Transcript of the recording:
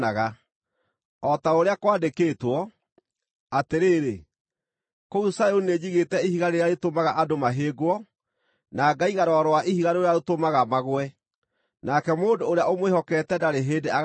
O ta ũrĩa kwandĩkĩtwo: “Atĩrĩrĩ, kũu Zayuni nĩnjigĩte ihiga rĩrĩa rĩtũmaga andũ mahĩngwo, na ngaiga rwaro rwa ihiga rũrĩa rũtũmaga magũe, nake mũndũ ũrĩa ũmwĩhokete ndarĩ hĩndĩ agaaconorithio.”